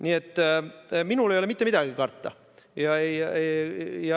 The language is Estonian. Nii et minul ei ole mitte midagi karta.